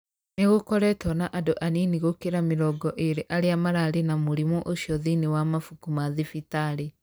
Nĩ gũkoretwo na andũ anini gũkĩra mĩrongo ĩrĩ arĩa mararĩ na mũrimũ ũcio thĩinĩ wa mabuku ma thibitarĩ.